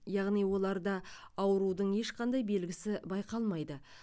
яғни оларда аурудың ешқандай белгісі байқалмайды